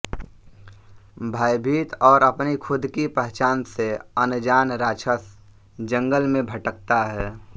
भयभीत और अपनी खुद की पहचान से अनजान राक्षस जंगल में भटकता है